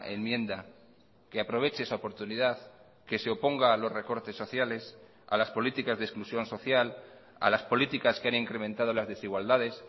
enmienda que aproveche esa oportunidad que se oponga a los recortes sociales a las políticas de exclusión social a las políticas que han incrementado las desigualdades